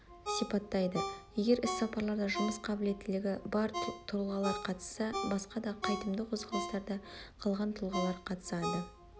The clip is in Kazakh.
сипаттайды егер іс-сапарларда жұмыс қабілеттігі бар тұлғалар қатысса басқа да қайтымды қозғалыстарда қалған тұлғалар қатысады